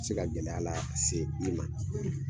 Se ka gɛlɛya lase i ma